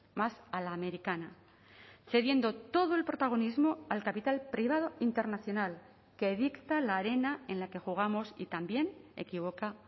más a la americana cediendo todo el protagonismo al capital privado internacional que dicta la arena en la que jugamos y también equivoca